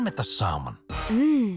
þetta saman í